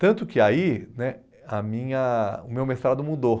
Tanto que aí né a minha o meu mestrado mudou.